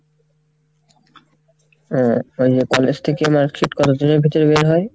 ও তাহলে college থেকে marksheet কতদিনের ভিতরে বের হয়?